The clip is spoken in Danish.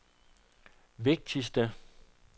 vigtigste